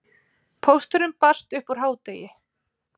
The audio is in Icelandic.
Pósturinn barst upp úr hádegi.